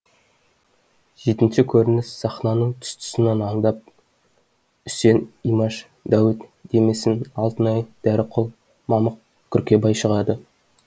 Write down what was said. жетінші көрініс сахнаның тұс тұсынан андап үсен имаш дәуіт демесін алтынай дәріқұл мамық күркебай шығады